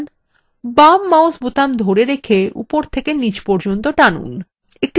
বাম mouse বোতাম ধরে রেখে উপর থেকে নীচ পর্যন্ত টেনে আনুন